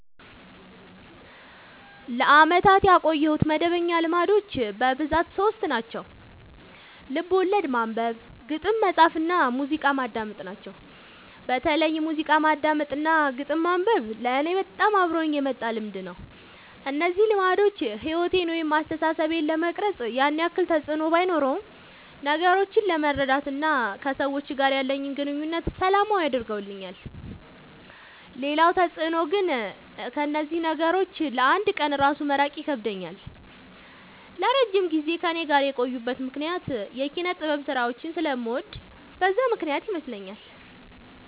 ለአመታት ያቆየሁት መደበኛ ልማዶች በብዛት ሶስት ናቸው። ልቦለድ ማንበብ፣ ግጥም መፃፍ እና ሙዚቃ ማዳመጥ ናቸው። በተለይ ሙዚቃ ማዳመጥ እና ግጥም ማንበብ ለኔ በጣም አብሮኝ የመጣ ልምድ ነው። እነዚህ ልማዶች ሕይወቴን ወይም አስተሳሰቤን ለመቅረጽ ያን ያክል ተፅዕኖ ባኖረውም ነገሮችን ለመረዳት እና ከሰዎች ጋር ያለኝን ግንኙነት ሰላማዊ አድርገውልኛል ሌላው ተፅዕኖ ግን ከእነዚህ ነገሮች ለ አንድ ቀን እራሱ መራቅ ይከብደኛል። ለረጅም ጊዜ ከእኔ ጋር የቆዩበት ምክንያት የኪነጥበብ ስራዎችን ስለምወድ በዛ ምክንያት ይመስለኛል።